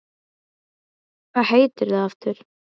Hvað heitir þú aftur?